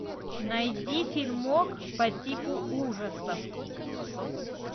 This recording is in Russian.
найди фильмок по типу ужасов